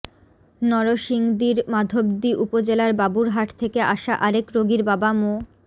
নরসিংদীর মাধবদী উপজেলার বাবুরহাট থেকে আসা আরেক রোগীর বাবা মো